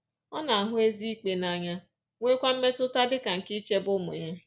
Ọ “na-ahụ ezi ikpe n’anya,” nweekwa mmetụta dị ike nke ichebe ụmụ ya.